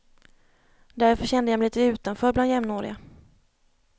Därför kände jag mig lite utanför bland jämnåriga.